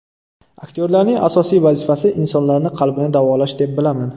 Aktyorlarning asosiy vazifasi insonlarni qalbini davolash deb bilaman.